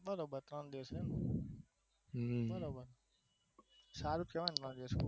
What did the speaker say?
બરોબર ત્રણ દીવસનું બરોબર સારું જ કેવાય ને